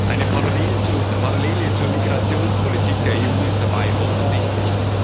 Eine Parallele zur Migrationspolitik der EU ist dabei offensichtlich.